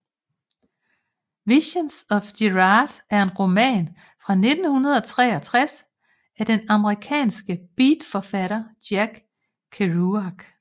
Visions of Gerard er en roman fra 1963 af den amerikanske beatforfatter Jack Kerouac